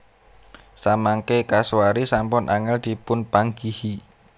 Samangké kasuari sampun angèl dipunpanggihi